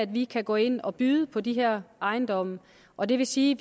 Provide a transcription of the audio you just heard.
vi kan gå ind og byde på de her ejendomme og det vil sige